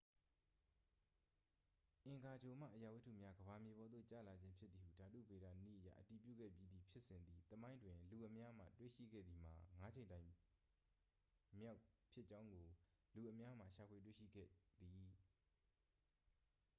အင်္ဂါဂြိုလ်မှ အရာဝတ္တုများ ကမ္ဘာမြေပေါ်သို့ ကျလာခြင်းဖြစ်သည်ဟု ဓာတုဗေဒနည်းအရ အတည်ပြုခဲ့ပြီးသည့်ဖြစ်စဉ်သည် သမိုင်းတွင် လူအများမှ တွေ့ရှိခဲ့သည်မှာ ငါးကြိမ်တိုင်မြောက်ဖြစ်ကြောင်းကို လူအများမှ ရှာဖွေတွေ့ရှိခဲ့သည်